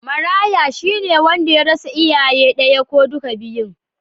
Maraya, shi ne wanda ya rasa iyayen daya ko duka biyun